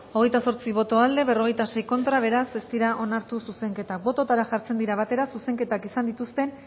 hogeita zortzi boto aldekoa cuarenta y seis contra beraz ez dira onartu zuzenketak bototara jartzen dira batera zuzenketak izan dituzten